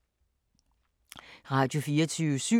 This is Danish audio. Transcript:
Radio24syv